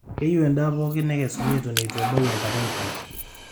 keyiu endaa pookin nekesoni eton eitu ebau enkata enchan